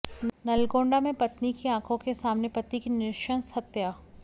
नलगोंडा में पत्नी की आंखों के सामने पति की नृशंस हत्या